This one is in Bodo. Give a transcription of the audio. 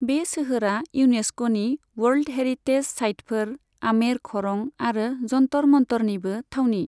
बे सोहोरा इउनेस्क'नि वर्ल्ड हेरिटेज साइटफोर आमेर खरं आरो जन्तर मन्तरनिबो थावनि।